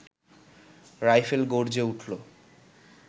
rifle গর্জে উঠল